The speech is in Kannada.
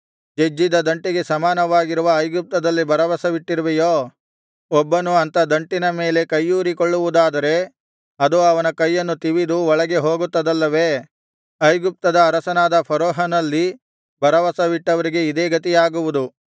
ಜಜ್ಜಿದ ದಂಟಿಗೆ ಸಮಾನವಾಗಿರುವ ಐಗುಪ್ತದಲ್ಲಿ ಭರವಸವಿಟ್ಟಿರುವೆಯೋ ಒಬ್ಬನು ಅಂಥ ದಂಟಿನ ಮೇಲೆ ಕೈಯೂರಿಕೊಳ್ಳುವುದಾದರೆ ಅದು ಅವನ ಕೈಯನ್ನು ತಿವಿದು ಒಳಗೆ ಹೋಗುತ್ತದಲ್ಲವೇ ಐಗುಪ್ತದ ಅರಸನಾದ ಫರೋಹನನಲ್ಲಿ ಭರವಸವಿಟ್ಟವರಿಗೆ ಇದೇ ಗತಿಯಾಗುವುದು